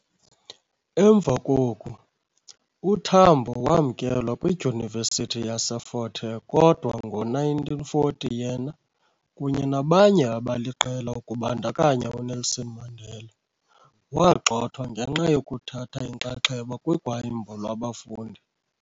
Emva koku, uTambo wamkelwa kwiDyunivesithi yaseFort Hare kodwa ngo-1940 yena, kunye nabanye abaliqela kubandakanya uNelson Mandela, wagxothwa ngenxa yokuthatha inxaxheba kugwayimbo lwabafundi.